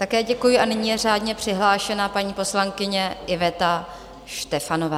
Také děkuji a nyní je řádně přihlášena paní poslankyně Iveta Štefanová.